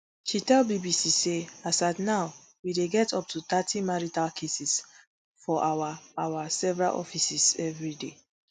she tell bbc say as at now we dey get up to thirty marital cases for our our several offices everi day